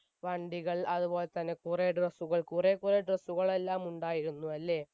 വണ്ടികൾ അതുപോലെ തന്നെ കുറെ dress കൾ കുറെ കുറെ dress കൾ എല്ലാം ഉണ്ടായിരുന്നയല്ലേ